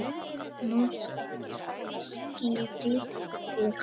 Nú skildi ég hann.